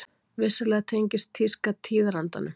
Vissulega tengist tíska tíðarandanum.